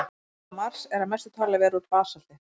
Yfirborð Mars er að mestu talið vera úr basalti.